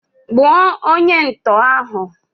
Gbuo onye ntọ ahụ!